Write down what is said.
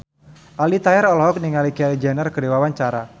Aldi Taher olohok ningali Kylie Jenner keur diwawancara